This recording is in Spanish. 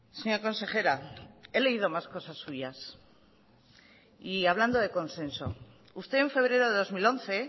señora consejera he leído más cosas suyas y hablando de consenso usted en febrero de dos mil once